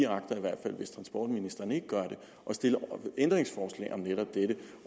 agter hvis transportministeren ikke gør det at stille ændringsforslag om netop dette